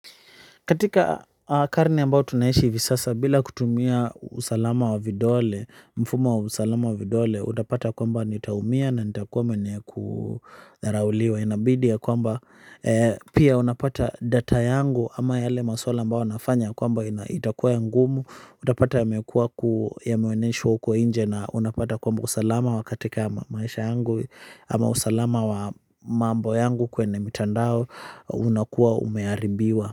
Katika karne ambayo tunaishi hivi sasa bila kutumia usalama wa vidole, mfumo wa usalama wa vidole, utapata kwamba nitaumia na nitakuwa mwenye kudharauliwa. Inabidi ya kwamba pia unapata data yangu ama yale maswala ambayo nafanya kwamba itakuwa ya ngumu. Utapata yamekua ku yameonyeshwa huko inje na unapata kwamba usalama wa katika maisha yangu ama usalama wa mambo yangu kwenye mitandao unakuwa umeharibiwa.